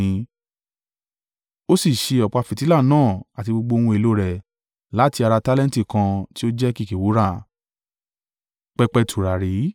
Ó sì ṣe ọ̀pá fìtílà náà àti gbogbo ohun èlò rẹ̀ láti ara tálẹ́ǹtì kan tí ó jẹ́ kìkì wúrà.